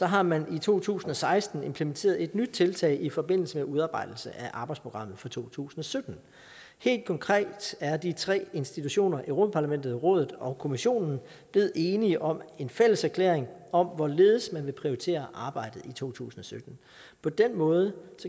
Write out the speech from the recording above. har man i to tusind og seksten implementeret et nyt tiltag i forbindelse med udarbejdelse af arbejdsprogrammet for to tusind og sytten helt konkret er de tre institutioner europa parlamentet rådet og kommissionen blevet enige om en fælleserklæring om hvorledes man vil prioritere arbejdet i to tusind og sytten på den måde